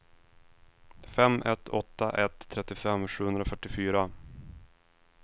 fem ett åtta ett trettiofem sjuhundrafyrtiofyra